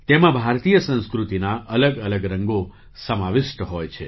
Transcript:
તેમાં ભારતીય સંસ્કૃતિના અલગ અલગ રંગો સમાવિષ્ટ હોય છે